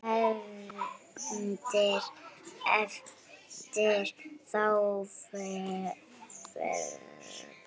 HEFNDIR EFTIR ÞÁ FEÐGA